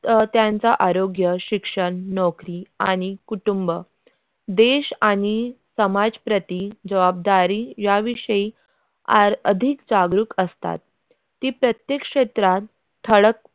तर त्यांचा आरोग्य शिक्षण नौकरी आणि कुटुंब देश आणि समाज प्रति जबाबदारी या विषयी आज अधिक जागृक असतात ती प्रत्येक क्षेत्रात ठळक